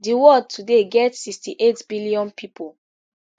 di world today get sixty-eight billion pipo